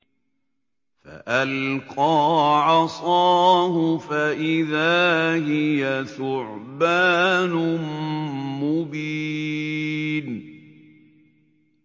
فَأَلْقَىٰ عَصَاهُ فَإِذَا هِيَ ثُعْبَانٌ مُّبِينٌ